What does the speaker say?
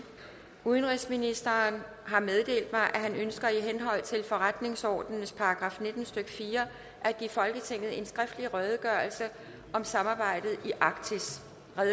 udenrigsministeren har meddelt mig at han ønsker i henhold til forretningsordenens § nitten stykke fire at give folketinget en skriftlig redegørelse om samarbejdet i arktis